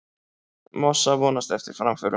Massa vonast eftir framförum